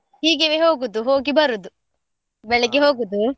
ಹೀಗೆವೆ ಹೋಗುದು, ಹೋಗಿ ಬರೋದು, ಬೆಳ್ಳಿಗೆ ಹೋಗುದು.